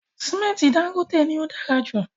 Sìmẹ́ntì Dangote ni o dára jù